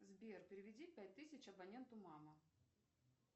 сбер переведи пять тысяч абоненту мама